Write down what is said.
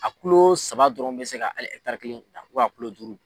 A kulo saba dɔrɔn bɛ se ka hali ɛtaari kelen a kulo duuru.